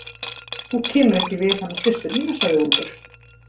Og þú kemur ekki við hana systur mína, sagði Úlfur.